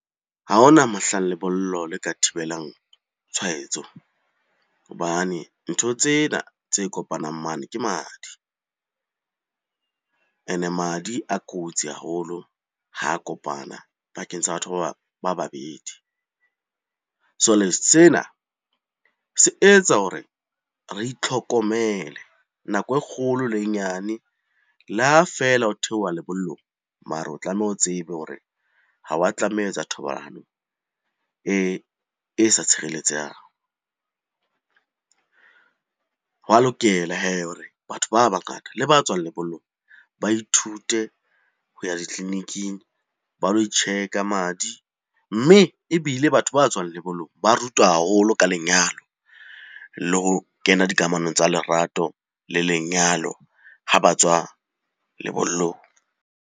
Ha hona mohlang lebollo le ka thibelang tshwaetso hobane ntho tsena tse kopanang mane ke madi. Ene madi a kotsi haholo ho kopana pakeng tsa batho ba babedi. Sena se etsa hore re itlhokomele nako e kgolo le e nyane. Le ha feela ho theoha lebollong, mare o tlameha o tsebe hore ha wa tlameha ho etsa thobalano e sa tshireletsehang. Ho a lokela hee hore batho ba bangata le ba tswang lebollong ba ithute ho ya ditleliniking, ba lo tjheka madi. Mme ebile batho ba tswang lebollong ba rutwa haholo ka lenyalo le ho kena dikamanong tsa lerato le lenyalo ha ba tswa lebollong.